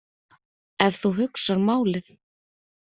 Ef þú hugsar málið.